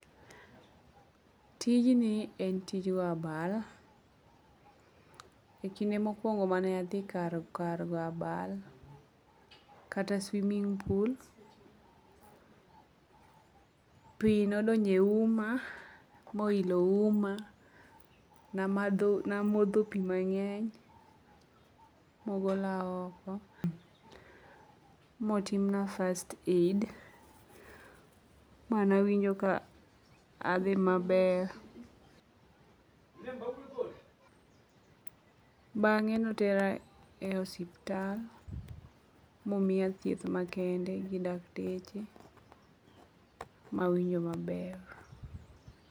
Tijni en tij go abal. E kinde mokwongo mane adhi kar go abal, kata swimming pool, pi nodonjo e uma bo ilo uma. Namodho pi mang'eny mogolna oko, motimna first aid, ma nawinjo ka adhi ,maber. Bang'e notera e osiptal momiya thieth makende gi dakteche mawinjo maber.